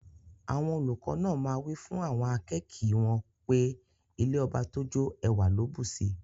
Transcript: Awon oluko naa maa wifun awon akeeki won pe ilẹ̀ ọbà tó jó, èwà kò ló bùṣí.